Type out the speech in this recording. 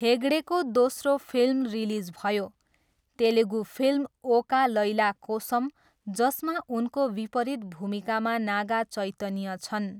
हेगडेको दोस्रो film release भयो, Telugu film Oka Laila Kosam, जसमा उनको विपरीत भूमिकामा नागा चैतन्य छन्।